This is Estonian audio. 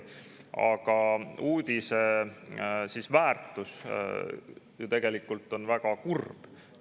Aga uudise väärtus on tegelikult väga kurb.